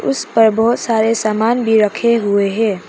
उस पर बहुत सारे सामान भी रखे हुए हैं।